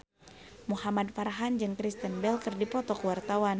Muhamad Farhan jeung Kristen Bell keur dipoto ku wartawan